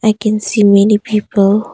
I can see many people.